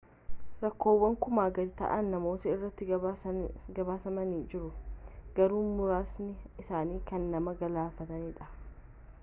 rakkoowwan kumaa gadi ta'an namoota irratti gabaasamanii jiru garuu muraasni isaanii kan nama galaafatanidha